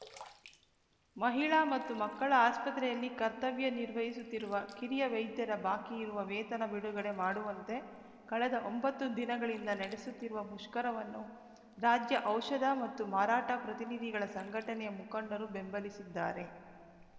ಮಹಿಳಾ ಮತ್ತುಮಕ್ಕಳ ಆಸ್ಪತ್ರೆಯಲ್ಲಿ ಕರ್ತವ್ಯ ನಿರ್ವಹಿಸುತ್ತಿರುವ ಕಿರಿಯ ವೈದ್ಯರ ಬಾಕಿ ಇರುವ ವೇತನ ಬಿಡುಗಡೆ ಮಾಡುವಂತೆ ಕಳೆದ ಒಂಬತ್ತು ದಿನಗಳಿಂದ ನಡೆಸುತ್ತಿರುವ ಮುಷ್ಕರವನ್ನು ರಾಜ್ಯ ಔಷಧ ಮತ್ತು ಮಾರಾಟ ಪ್ರತಿನಿಧಿಗಳ ಸಂಘಟನೆಯ ಮುಖಂಡರು ಬೆಂಬಲಿಸಿದ್ದಾರೆ